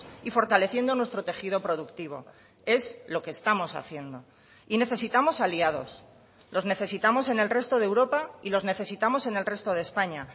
y fortaleciendo nuestro tejido productivo es lo que estamos haciendo y necesitamos aliados los necesitamos en el resto de europa y los necesitamos en el resto de españa